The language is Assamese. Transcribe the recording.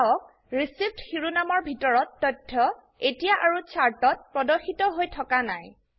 চাওক ৰিচিভড শিৰোনামৰ ভিতৰৰ তথ্য এতিয়া আৰু চাৰ্ট ত প্ৰদৰ্শিত হৈ থকা নাই